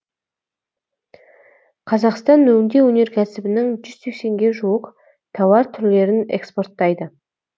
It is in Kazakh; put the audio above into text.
қазақстан өңдеу өнеркәсібінің жүз сексенге жуық тауар түрлерін экспорттайды